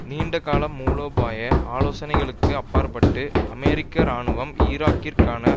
நீண்ட கால மூலோபாய ஆலோசனைகளுக்கு அப்பாற்பட்டு அமெரிக்க இராணுவம் ஈராக்கிற்கான